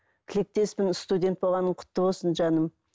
тілектеспін студент болғаның құтты болсын жаным